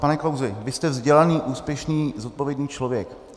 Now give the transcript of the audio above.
Pane Klausi, vy jste vzdělaný, úspěšný, zodpovědný člověk.